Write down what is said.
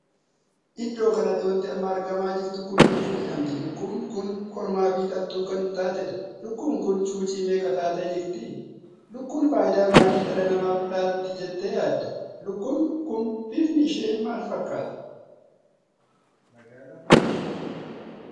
Iddoo kanattii wanti amma argamaa jirtu kun lukkuu jedhemti. lukkuun kun kormaa fi dhaltuu kan taateedha. lukkuu kun cuucii meeqa taatee jirti? Iukkuun faayidaa maalii dhala namaaf laatti jettee yaadda? lukkuun kun bifni ishee maal fakkaata?